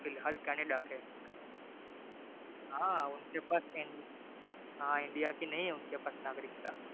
फिलहाल केनेडा से है हां उनके पास india की नहीं है नागरिकता